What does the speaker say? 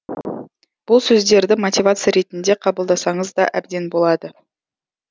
бұл сөздерді мотивация ретінде қабылдасаңыз да әбден болады